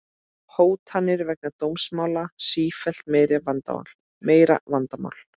Hótanir vegna dómsmála sífellt meira vandamál